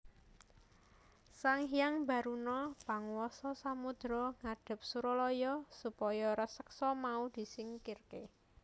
Sanghyang Baruna panguwasa samodra ngadhep Suralaya supaya raseksa mau disingkirké